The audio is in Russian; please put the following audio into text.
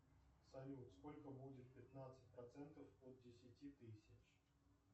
салют сколько будет пятнадцать процентов от десяти тысяч